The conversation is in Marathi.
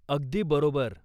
अगदी बरोबर!